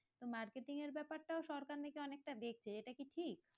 তো marketing এর ব্যাপার টাও নাকি সরকার অনেক টা দেখছে এটা কি ঠিক?